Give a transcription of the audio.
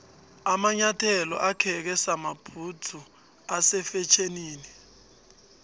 amanyathelo akheke samabhudzu ase fetjhenini